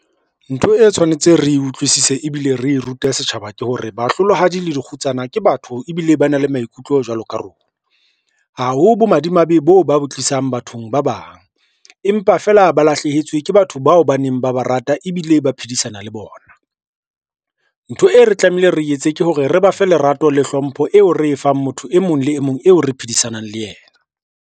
Ntho e tshwanetse re utlwisise ebile re rute setjhaba ke hore, bahlolohadi le dikgutsana ke batho ebile ba na le maikutlo jwalo ka rona. Ha ho bomadimabe boo ba bo tlisang bathong ba bang, empa feela ba lahlehetswe ke batho bao ba neng ba ba rata ebile ba phedisana le bona. Ntho e re tlamehile re etse ke hore re ba fe lerato le hlompho eo re e fang motho e mong le e mong eo re phedisanang le yena.